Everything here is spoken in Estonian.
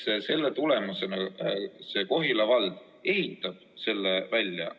16. juulist jõustub Euroopa Liidu otsekohalduv nn turujärelevalve määrus, mis näeb ette täpsustuse tegemise ka meie õiguskorras.